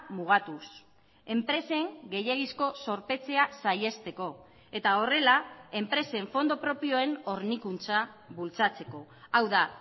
mugatuz enpresen gehiegizko zorpetzea saihesteko eta horrela enpresen fondo propioen hornikuntza bultzatzeko hau da